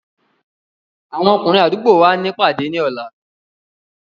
Àwọn ọkùnrin àdúgbò wa ní ìpàdé ní ọ̀la.